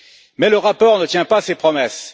Mais le rapport ne tient pas ses promesses.